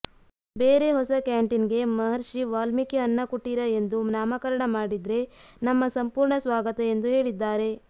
ಬೇರೆ ಹೊಸ ಕ್ಯಾಂಟೀನ್ಗೆ ಮಹರ್ಷಿ ವಾಲ್ಮೀಕಿ ಅನ್ನ ಕುಟೀರ ಎಂದು ನಾಮಕರಣ ಮಾಡಿದ್ರೆ ನಮ್ಮ ಸಂಪೂರ್ಣ ಸ್ವಾಗತ ಎಂದು ಹೇಳಿದ್ದಾರೆ